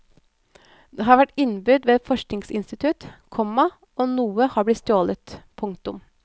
Det har vært innbrudd ved et forskningsinstitutt, komma og noe har blitt stjålet. punktum